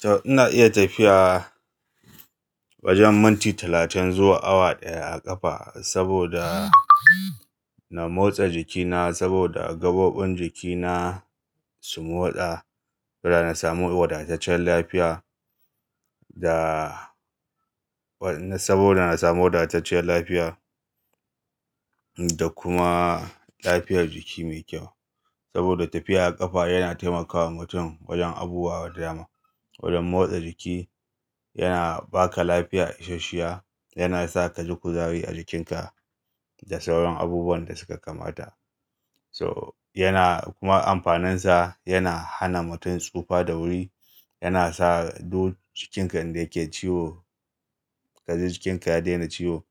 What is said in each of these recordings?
To ina iya tafiya wajen minti talatin zuwa awa ɗaya a ƙafa saboda na motsa jikina saboda gaɓoɓin jikina su motsa. Da na samu wadataccen lafiya da-- saboda na samu wadatacciyar lafiya da kuma lafiyar jiki mai kyau. Saboda tafiya a ƙafa yana taimakawa mutum wajen abubuwa da dama. Wajen motsa jiki, yana ba ka lafiya isasshiya, yana sa ka ji kuzari a jikinka da sauran abubuwan da suka kamata. So yana kuma amfaninsa, yana hana mutum tsufa da wuri, yana sa duk jikinka inda yake ciwo ka ji jikinka ya daina ciwo,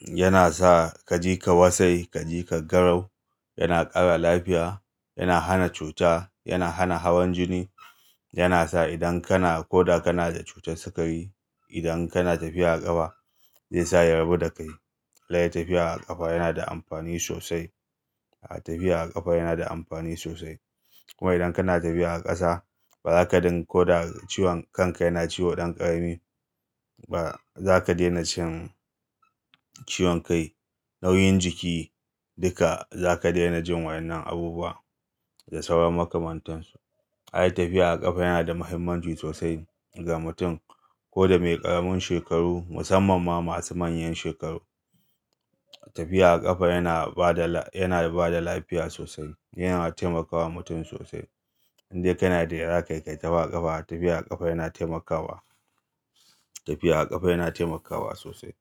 yana sa ka ji ka wasai, ka ji ka garau, yana ƙara lafiya, yana hana cuta, yana hana hawan jini, yana sa idan kana ko da kana da cutar sikari idan kana tafiya a ƙafa zai sa ya rabu da kai. Dai tafiya a ƙafa yana da amfani sosai. Tafiya a ƙafa yana da amfani sosai. Kuma idan kana tafiya a ƙasa ba za ka dinga ko da ciwon kanka yana ciwo ɗan ƙarami ba. Za ka daina jin ciwon kai, nauyin jiki duka za ka daina jin waɗannan abubuwa da sauran makamantansu. Ai tafiya a ƙafa yana da mahimmanci sosai ga mutum ko da mai ƙaramin shekaru musamman ma masu manyan shekaru. Tafiya a ƙafa yana ba da lafiya sosai. Yana taimakawa mutum sosai. Indai kana da yara ka kai ta tafiya a ƙafa, tafiya a ƙafa yana taimakawa, tafiya a ƙafa yana taimakawa sosai.